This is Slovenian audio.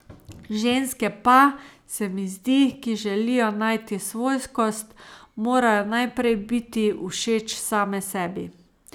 Ženske pa, se mi zdi, ki želijo najti svojskost, morajo najprej biti všeč same sebi.